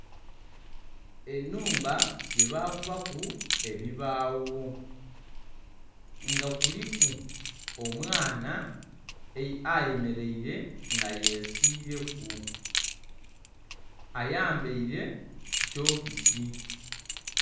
Ennhumba yebakubaku ebibaawo, nga kuliku omwana ayemeleire nga yesiileku. Ayambaile sitokisi.